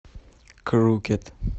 крукед